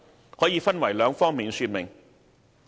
有關工作可分為兩方面說明。